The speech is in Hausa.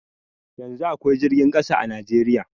Yanzun akwai jirgin ƙasa a Najeriya